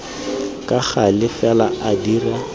ka gale fela a dira